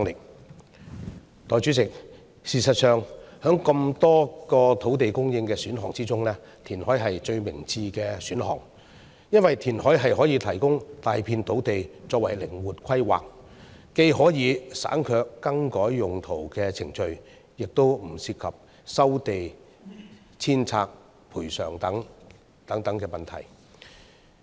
代理主席，事實上，在這麼多個土地供應選項中，填海是最明智的選項，因為填海可以提供大片土地作靈活規劃，既可以省卻更改用途的程序，也不涉及收地遷拆賠償等問題。